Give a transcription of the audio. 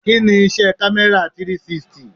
Kí ni iṣẹ́ kamera 360?